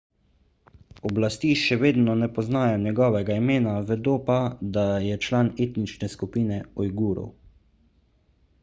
oblasti še vedno ne poznajo njegovega imena vedo pa da je član etnične skupine ujgurov